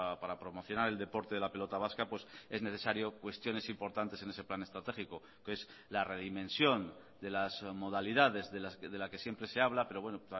para promocionar el deporte de la pelota vasca es necesario cuestiones importantes en ese plan estratégico es la redimensión de las modalidades de la que siempre se habla pero bueno